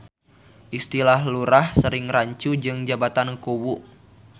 Istilah Lurah sering rancu jeung jabatan Kuwu.